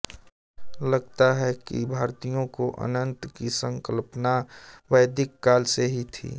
लगता है कि भारतीयों को अनन्त की संकल्पना वैदिक काल से ही थी